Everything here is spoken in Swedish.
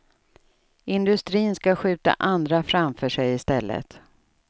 Industrin ska skjuta andra framför sig i stället.